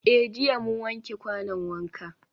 Eh jiya mun wanke kwanon wanka.